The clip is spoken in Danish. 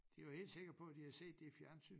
De var helt sikker på de havde set det i fjernsyn